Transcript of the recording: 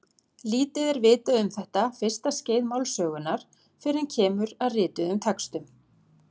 Lítið er vitað um þetta fyrsta skeið málsögunnar fyrr en kemur að rituðum textum.